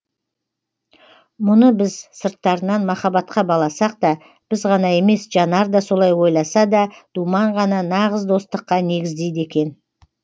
мұны біз сырттарынан махаббатқа баласақ та біз ғана емес жанар да солай ойласа да думан ғана нағыз достыққа негіздейді екен